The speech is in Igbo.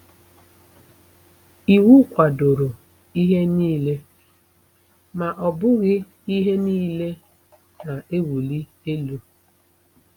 Iwu kwadoro ihe niile; ma ọ bụghị ihe nile na-ewuli elu. ”